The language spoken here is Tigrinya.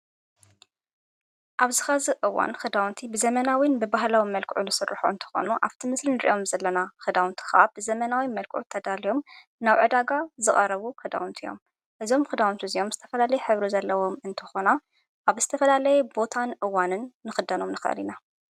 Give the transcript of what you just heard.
ኣብ ዝኻ እዝ እዋን ኽዳውንቲ ብዘመናዊን ብብህላዊ መልክዑ ለሠልሖ እንተኾኑ ኣብቲ ምስልን ርእዮም ዘለና ኽዳውንቲ ኸዓ ብዘመናዊ መልክዑ ተዳልዮም ናውዕዳጋ ዝቓረቡ ኽዳውንቲ እዮም እዞም ክዳውንቲ እዚዮም ዝስተፈላለይ ኅብሩ ዘለዎም እንተኾና ኣብ እስተፈላለይ ቦታን እዋንን ምኽዳኖም ንኽሊኢና።